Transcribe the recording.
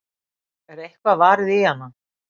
Er eitthvað varið í hana?